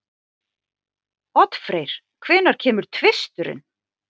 Oddfreyr, hvenær kemur tvisturinn?